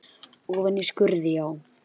Ofan í skurði, já?